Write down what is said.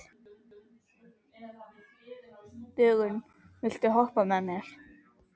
Dögun, viltu hoppa með mér?